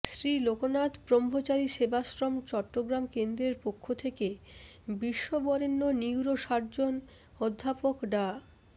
শ্রী লোকনাথ ব্রহ্মচারী সেবাশ্রম চট্টগ্রাম কেন্দ্রের পক্ষ থেকে বিশ্ব বরেণ্য নিউরো সার্জন অধ্যাপক ডা